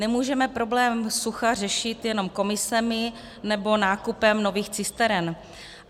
Nemůžeme problém sucha řešit jenom komisemi nebo nákupem nových cisteren.